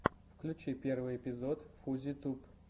включи первый эпизод фузи туб